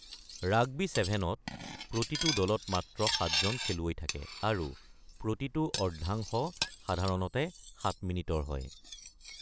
Rugby ছেভেনত, প্ৰতিটো দলত মাত্ৰ সাতজন খেলুৱৈ থাকে, আৰু প্ৰতিটো অৰ্ধাংশ সাধাৰণতে সাত মিনিটৰ হয়।